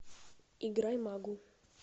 играй магу